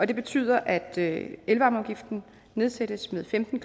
det betyder at elvarmeafgiften nedsættes med femten